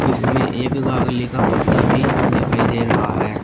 इसमें एक लाग़ली का पत्ता भी दिखाई दे रहा है।